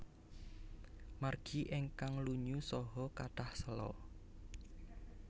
Margi ingkang lunyu saha kathah séla